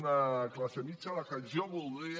una classe mitjana a la que jo voldria